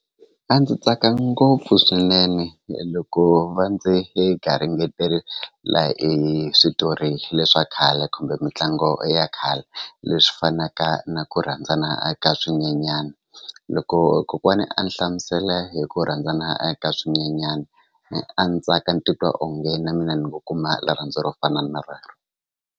A ndzi tsaka ngopfu swinene loko va ndzi e garingetelela hi switori le swa khale kumbe mitlangu ya khale leswi fanaka na ku rhandzana a ka swinyenyana loko kokwani a ni hlamusela hi ku rhandzana a ka swinyenyani a ni tsaka ni titwa onge na mina ni ngo kuma rirhandzu ro fana na rero.